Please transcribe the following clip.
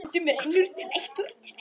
Stundum rennur tregt úr trekt.